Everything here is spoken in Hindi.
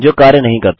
जो कार्य नहीं करता